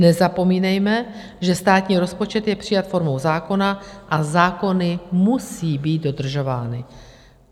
Nezapomínejme, že státní rozpočet je přijat formou zákona a zákony musí být dodržovány."